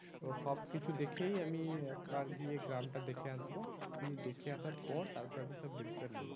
তো সব কিছু দেখেই আমি একবার গিয়ে গ্রামটা দেখে আসবো দেখে আসার পর তারপর আমি সব decision নেবো